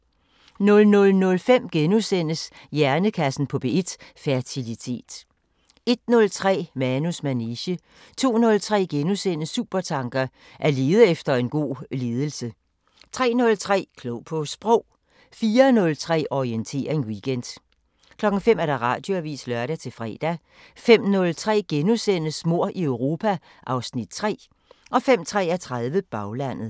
00:05: Hjernekassen på P1: Fertilitet * 01:03: Manus manege 02:03: Supertanker: At lede efter god ledelse * 03:03: Klog på Sprog 04:03: Orientering Weekend 05:00: Radioavisen (lør-fre) 05:03: Mord i Europa (Afs. 3)* 05:33: Baglandet